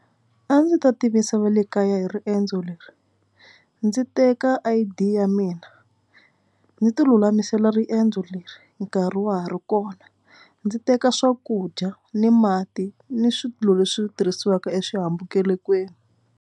A ndzi ta tivisa va le kaya hi riendzo leri. Ndzi teka I_D ya mina ndzi tilulamisela riendzo leri nkarhi wa ha ri kona. Ndzi teka swakudya ni mati ni swilo leswi tirhisiwaka exihambukelekweni.